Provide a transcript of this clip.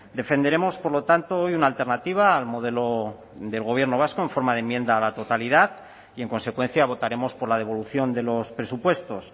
defenderemos por lo tanto hoy una alternativa al modelo del gobierno vasco en forma de enmienda a la totalidad y en consecuencia votaremos por la devolución de los presupuestos